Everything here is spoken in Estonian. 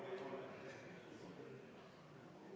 Kümme minutit vaheaega.